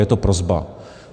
Je to prosba.